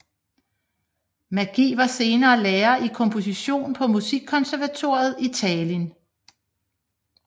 Mägi var senere lærer i komposition på musikkonservatoriet i Tallinn